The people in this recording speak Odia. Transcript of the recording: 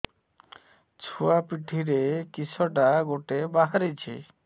ଛୁଆ ପିଠିରେ କିଶଟା ଗୋଟେ ବାହାରିଛି